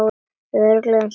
Örugg einsog þær.